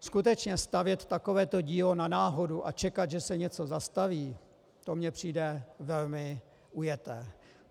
Skutečně stavět takovéto dílo na náhodu a čekat, že se něco zastaví, to mně přijde velmi ujeté.